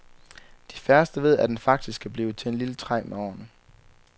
De færreste ved, at den faktisk kan blive til et lille træ med årene.